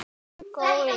En ég rausa bara.